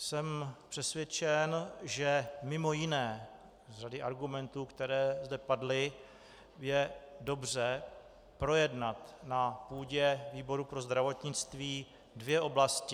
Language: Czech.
Jsem přesvědčen, že mimo jiné z řady argumentů, které zde padly, je dobře projednat na půdě výboru pro zdravotnictví dvě oblasti.